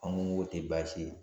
An ko k'o tɛ baasi ye